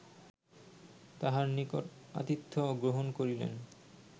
তাঁহার নিকট আতিথ্য গ্রহণ করিলেন